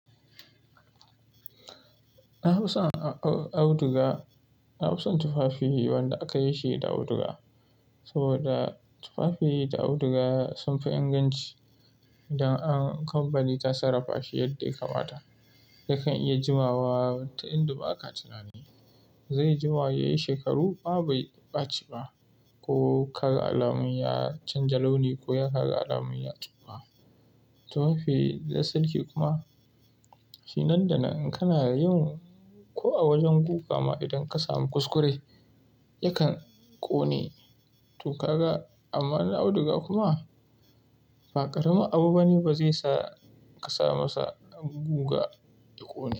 Na fi son auduga, na fi son tufafi wanda aka yi shi da auduga saboda tufafi da auduga sun fi inganci idan an kamfani ta sarafa shi yadda ya kamata. Yakan iya jimawa ta inda ba ka tunani, zai jima yayi shekaru ma bai ɓaci ba ko ya kaga alamun ya canja launi ko ya kaga alamun ya tsufa. Tufafi da sarki kuma shi nan da nan in kana yin ko a wajen guga ma idan ka samu kuskure yakan ƙone to kaga. Amma na auduga kuma ba ƙaramin abu ba ne ba zai sa ka samasa guga ya ƙone.